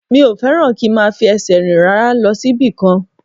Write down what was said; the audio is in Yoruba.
Mi ò fẹ́ràn kí n máa fi ẹsẹ̀ rìn rárá lọ síbì kan